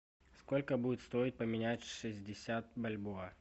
сколько будет стоить поменять шестьдесят бальбоа